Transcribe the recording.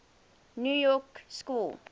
new york school